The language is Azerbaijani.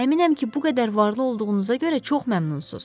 Əminəm ki, bu qədər varlı olduğunuza görə çox məmnunsunuz.